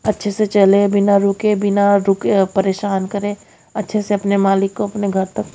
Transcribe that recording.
अच्छे से चले बिना रुके बिना रुके परेशान करें अच्छे से अपने मालिक को अपने घर तक--